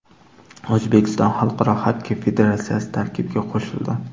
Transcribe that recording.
O‘zbekiston Xalqaro xokkey federatsiyasi tarkibiga qo‘shildi.